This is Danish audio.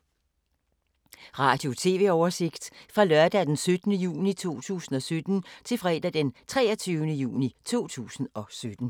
Radio/TV oversigt fra lørdag d. 17. juni 2017 til fredag d. 23. juni 2017